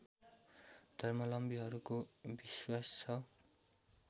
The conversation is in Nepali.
धर्मावलम्बीहरूको विश्वास छ